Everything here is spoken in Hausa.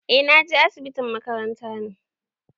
Eh na je asibitin makaranta ne.